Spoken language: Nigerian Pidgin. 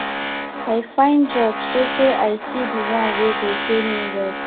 i find job sotee i see di one wey go pay me well